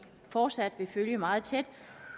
fortsat vil følge meget tæt